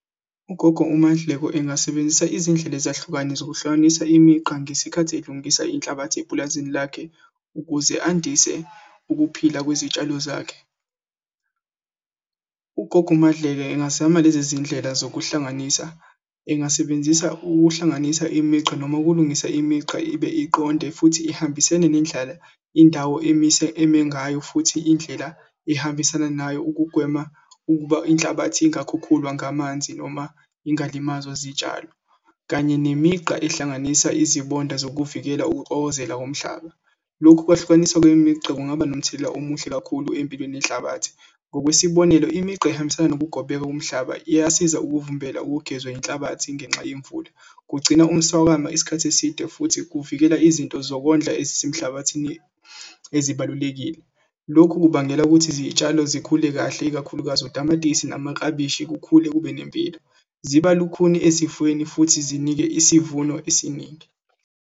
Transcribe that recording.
Ugogo uMadleko engasebenzisa izindlela ezahlukane zokuhlanganisa imigqa ngesikhathi elungisa inhlabathi epulazini lakhe ukuze andise ukuphila kwezitshalo zakhe. Ugogo uMadleka engazama lezi zindlela zokuhlanganisa engasebenzisa ukuhlanganisa imigqa noma ukulungisa imigqa ibe iqonde futhi ihambisene nendlala indawo emise eme ngayo futhi indlela ehambisana nayo ukugwema ukuba inhlabathi ingakhukhulwa ngamanzi noma ingalimazwa zitshalo kanye nemigqa ehlanganisa izibonda zokuvikela ukuxokozela komhlaba. Lokhu kwehlukanisa kwemigqa kungaba nomthelela omuhle kakhulu empilweni yenhlabathi. Ngokwesibonelo imigqa ehambisana nokugobeka komhlaba iyasiza ukuvimbela ukugezwa inhlabathi ngenxa yemvula. Kugcina umswakamo isikhathi eside futhi kuvikela izinto zokondla ezisemhlabathini ezibalulekile. Lokhu kubangela ukuthi izitshalo zikhule kahle ikakhulukazi utamatisi namaklabishi kukhule kube nempilo, ziba lukhuni ezifweni futhi zinike isivuno esiningi.